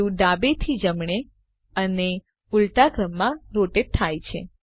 view ડાબેથી જમણે અને ઉલટા ક્રમમાં રોટેટ થાય છે